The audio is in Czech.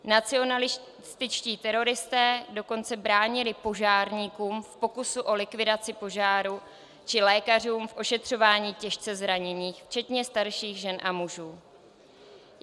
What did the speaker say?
Nacionalističtí teroristé dokonce bránili požárníkům v pokusu o likvidaci požáru či lékařům v ošetřování těžce zraněných, včetně starších žen a mužů.